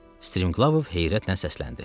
Strimqlavov heyrətlə səsləndi.